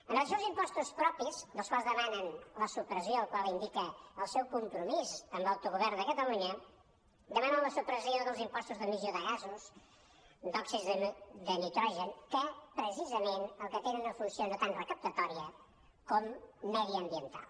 amb relació als impostos propis dels quals demanen la supressió la qual cosa indica el seu compromís amb l’autogovern de catalunya demanen la supressió dels impostos d’emissió de gasos d’òxids de nitrogen que precisament tenen una funció no tant recaptatòria com mediambiental